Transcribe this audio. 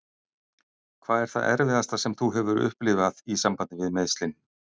Hvað er það erfiðasta sem þú hefur upplifað í sambandi við meiðslin?